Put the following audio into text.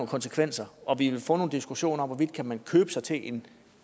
konsekvenser og vi vil få nogle diskussioner om hvorvidt man kan købe sig til en